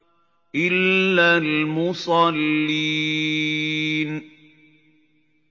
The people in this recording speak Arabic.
إِلَّا الْمُصَلِّينَ